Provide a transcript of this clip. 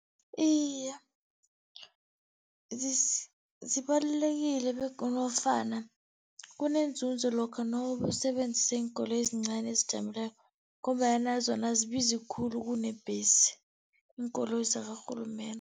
Iye, zibalulekile nofana kunenzunzo lokha nowusebenzisa iinkoloyi ezincani ezijamileko, ngombanyana zona azibizi khulu kunebhesi, iinkoloyi zakarhulumende.